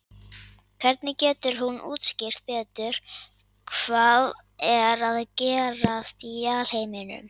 Hvernig getur hún útskýrt betur hvað er að gerast í alheiminum?